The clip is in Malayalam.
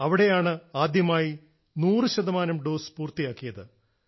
അവിടെയാണ് ആദ്യമായി 100 ശതമാനം ഡോസ് പൂർത്തിയാക്കിയത്